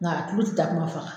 Nga a kulu ti takuma faga